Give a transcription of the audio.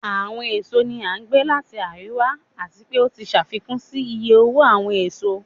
Awọn èsó ni a gbe lati ariwa, ati pe o ti ṣafikun si iye owo awọn èsó.